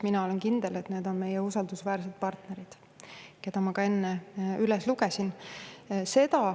Mina olen kindel, et need on meie usaldusväärsed partnerid, kelle ma enne ka üles lugesin.